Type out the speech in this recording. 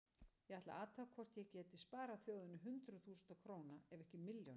Ég ætlaði að athuga hvort ég gæti sparað þjóðinni hundruð þúsunda króna ef ekki milljónir.